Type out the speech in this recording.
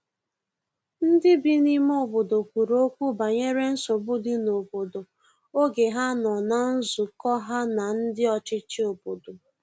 ndi bi ime obodo kwuru okwu banyere nsogbu di n'obodo oge ha nọ na nzukọ ha na ndi ọchichi obodo